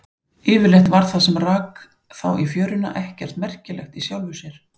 Yfirleitt var það sem rak þá í fjöruna ekkert merkilegt í sjálfu sér.